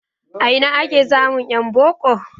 A ina ake samun en boko?